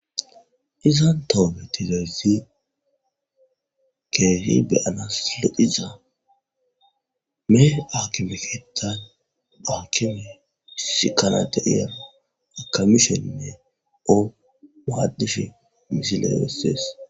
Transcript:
izan tooge dizaizis keehi beyanas lediza mee akimeketan akime his kanata iyera akamisheinne oo maadish misiley besese